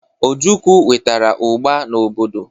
Ojukwu wetara ugba n'obodo.